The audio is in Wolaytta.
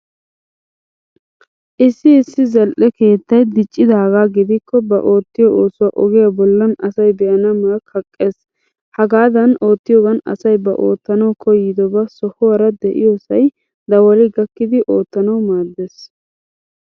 Issi issi zal'e keettay diccidaagaa gidikko ba oottiyo oosuwa ogiya bollan asay be'ana ma kaqqees. Hagaadan oottiyoogan asay ba oottanawu koyyidobaa sohuwaara de'iyoosay dawali gakkidi ottanawu maaddes.